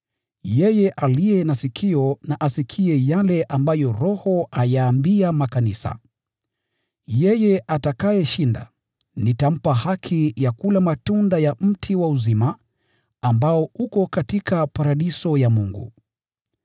“Yeye aliye na sikio na asikie yale ambayo Roho ayaambia makanisa. Yeye ashindaye, nitampa haki ya kula matunda toka kwa mti wa uzima, ambao uko katika paradiso ya Mungu.